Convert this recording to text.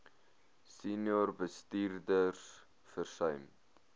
senior bestuurders versuim